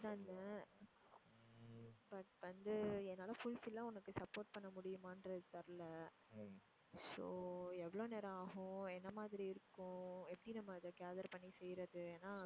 தான் இருந்தேன் but வந்து என்னால fulfill ஆ உனக்கு support பண்ண முடியுமான்றது தெரியல so எவ்ளோ நேரம் ஆகும்? என்ன மாதிரி இருக்கும்? எப்படி நம்ம அதை gather பண்ணி செய்றது? ஏன்னா